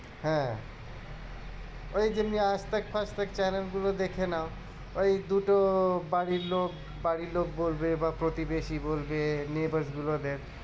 হ্যাঁ ওই যে chanel গুলো দেখে নেও। ওই দুটো বাড়ির লোক বাড়ির লোক বলবে প্রতিবেশি বলবে এমনি গুলো neighbors গুলো দেশ